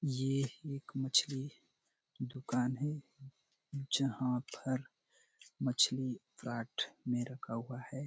ये एक मछली दुकान है जहाँ पर मछली प्लाट में रखा हुआ है।